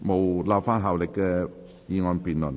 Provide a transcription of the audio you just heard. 無立法效力的議案辯論。